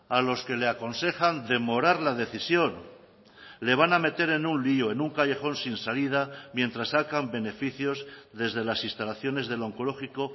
a los que le aconsejan demorar la decisión le van a meter en un lío en un callejón sin salida mientras sacan beneficios desde las instalaciones del onkologiko